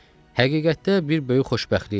Həqiqətdə bir böyük xoşbəxtlikdir.